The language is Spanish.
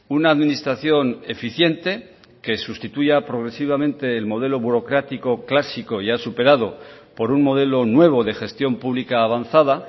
una administración eficiente que sustituya progresivamente el modelo burocrático clásico ya superado por un modelo nuevo de gestión pública avanzada